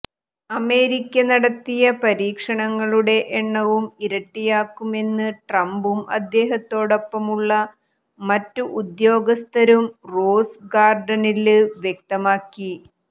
America നടത്തിയ പരീക്ഷണങ്ങളുടെ എണ്ണം ഇരട്ടിയാക്കുമെന്ന് ട്രംപും അദ്ദേഹത്തോടൊപ്പമുള്ള മറ്റ് ഉദ്യോഗസ്ഥരും റോസ് ഗാര്ഡനില് വ്യക്തമാക്കി